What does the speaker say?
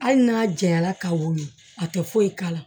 Hali n'a janyala ka wolo a tɛ foyi k'a la